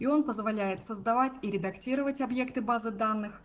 он позволяет создавать и редактировать объекты базы данных